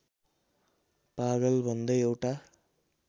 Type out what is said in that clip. पागल भन्दै एउटा